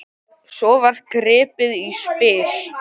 Svo var gripið í spil.